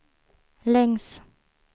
längs